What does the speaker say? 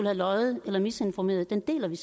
har løjet eller misinformeret deler vi